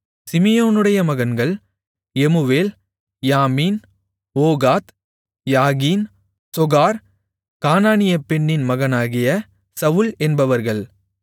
சிமியோனுடைய மகன்கள் Jemuel Jamin Ohad Jachin Zohar கானானிய பெண்ணின் மகனாகிய சவுல் என்பவர்கள்